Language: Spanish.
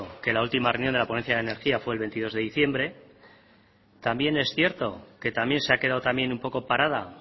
que la última reunión de la ponencia de la energía fue el veintidós de diciembre también es cierto que también se ha quedado también un poco parada